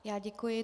Já děkuji.